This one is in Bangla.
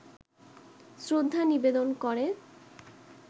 শ্রদ্ধা নিবেদন করে